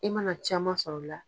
I mana caman sɔrɔla.